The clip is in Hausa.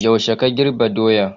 Yaushe ka girbi doya?